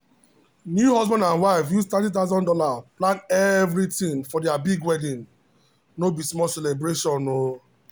new husband and wife use three thousand dollars0 plan everything for their big wedding no be small celebration.